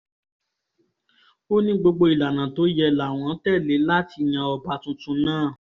ó ní gbogbo ìlànà tó yẹ láwọn tẹ́lẹ̀ láti yan ọba tuntun náà